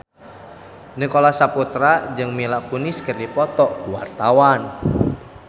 Nicholas Saputra jeung Mila Kunis keur dipoto ku wartawan